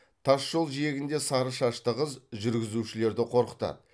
тас жол жиегінде сары шашты қыз жүргізушілерді қорқытады